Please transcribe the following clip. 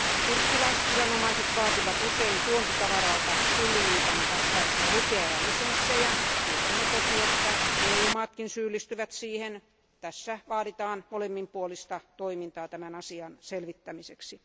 Turkkilaisviranomaiset vaativat usein tuontitavaralta tulliliiton vastaisia lupia ja lisenssejä. Tiedämme toki, että EU maatkin syyllistyvät siihen. Tässä vaaditaan molemminpuolista toimintaa tämän asian selvittämiseksi.